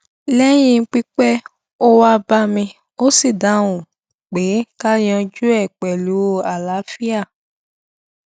léyìn pípẹ ó wá bá mi ó sì dáhùn pé ká yanjú e pẹlú àlàáfíà